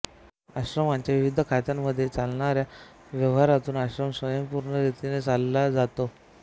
आश्रमाच्या विविध खात्यांमध्ये चालणाऱ्या व्यवहारातून आश्रम स्वयंपूर्ण रीतीने चालविला जातो